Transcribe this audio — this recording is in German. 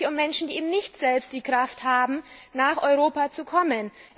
Es handelt sich um Menschen, die selbst nicht die Kraft haben, nach Europa zu kommen.